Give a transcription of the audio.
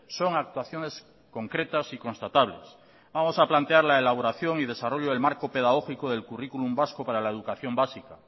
son actuaciones concretas y constatables vamos a plantear la elaboración y desarrollo del marco pedagógico del currículum vasco para la educación básica